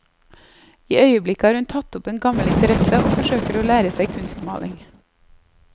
I øyeblikket har hun tatt opp en gammel interesse og forsøker å lære seg kunstmaling.